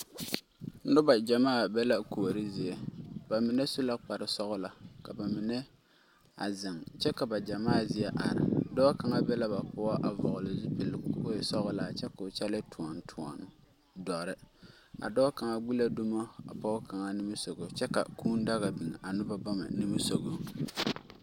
Noba gyamaa be la kuori zie. Ba mine su la kpare sɔgelɔ ka ba mine a zeŋ kyɛ ka ba gyamaa zie are. Dɔɔ kaŋa be la ba poɔ a vɔgele zupili ka o e sɔgelaa kyɛ ka o kyɛlee toɔnetoɔne doɔre. A dɔɔ kaŋa gbi la dumo a pɔge kaŋa nimisogo kyɛ ka kũũ daga biŋ a noba bama nimisogo.